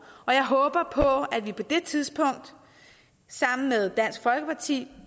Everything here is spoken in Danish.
og jeg håber på at vi på det tidspunkt sammen med dansk folkeparti